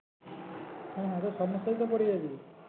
হ্যাঁ এতো সমস্যায় তো পরে যাবি।